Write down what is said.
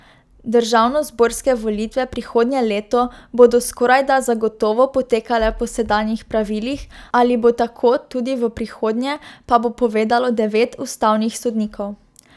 Državnozborske volitve prihodnje leto bodo skorajda zagotovo potekale po sedanjih pravilih, ali bo tako tudi v prihodnje, pa bo povedalo devet ustavnih sodnikov.